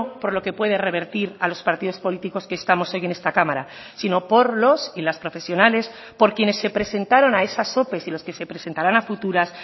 por lo que puede revertir a los partidos políticos que estamos hoy en esta cámara sino por los y las profesionales por quienes se presentaron a esas ope y los que se presentarán a futuras